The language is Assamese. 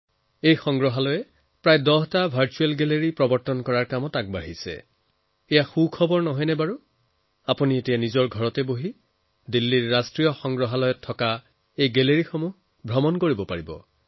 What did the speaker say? ৰাষ্ট্ৰীয় সংগ্ৰহালয়ত প্ৰায় দহটা ভাৰ্চুৱেল গেলাৰী গঢ়াৰ বাবে কাম চলি আছে এয়া আকৰ্ষণীয় নহয় নে এতিয়া আপুনি ঘৰত বহি দিল্লীৰ ৰাষ্ট্ৰীয় সংগ্ৰহালয়ৰ গেলাৰী চাব পাৰিব